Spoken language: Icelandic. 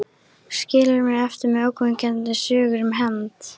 Skilur mig eftir með ógnvekjandi sögur um hefnd.